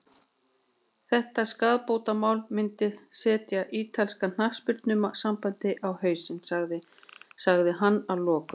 Þetta skaðabótamál myndi setja ítalska knattspyrnusambandið á hausinn, sagði hann að lokum.